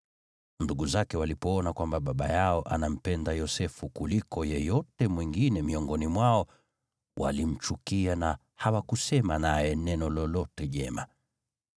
Ndugu zake walipoona kwamba baba yao anampenda Yosefu kuliko yeyote mwingine miongoni mwao, walimchukia na hawakusema naye neno lolote jema.